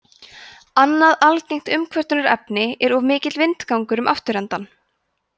annað algengt umkvörtunarefni er of mikill vindgangur um afturendann